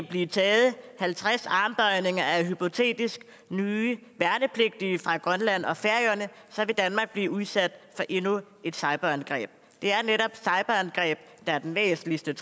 bliver taget halvtreds armbøjninger af hypotetisk nye værnepligtige fra grønland og færøerne vil danmark blive udsat for endnu et cyberangreb det er netop cyberangreb der er den væsentligste